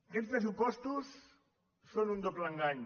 aquests pressupostos són un doble engany